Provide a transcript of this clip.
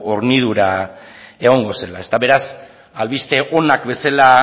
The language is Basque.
hornidura egongo zela beraz albiste onak bezala